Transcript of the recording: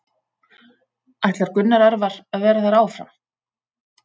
Ætlar Gunnar Örvar að vera þar áfram?